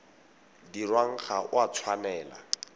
dirwang ga o a tshwanela